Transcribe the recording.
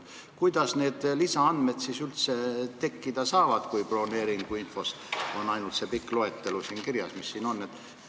Kuidas need lisaandmed siis üldse tekkida saavad, kui broneeringuinfo andmed on ainult need, mis siin pikas loetelus kirjas on?